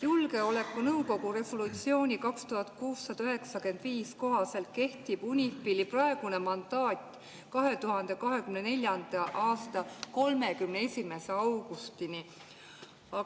Julgeolekunõukogu resolutsiooni 2695 kohaselt kehtib UNIFIL-i praegune mandaat 2024. aasta 31. augustini.